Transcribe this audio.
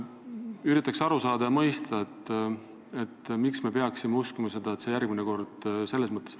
Üritan aru saada ja mõista, miks me peaksime uskuma, et see järgmine kord tõestub.